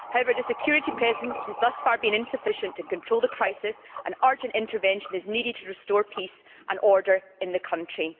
However, the security presence has thus far been insufficient to control the crisis and urgent intervention is needed to restore peace and order in the country.